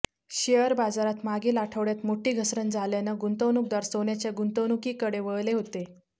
share बाजारात मागील आठवड्यात मोठी घसरण झाल्यानं गुंतवणूकदार सोन्याच्या गुंतवणुकीकडे वळले होते